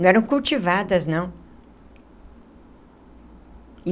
Não eram cultivadas, não.